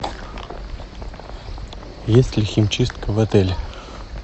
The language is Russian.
есть ли химчистка в отеле